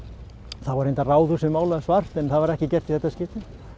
þá var reyndar Ráðhúsið málað svart en það var ekki gert í þetta skiptið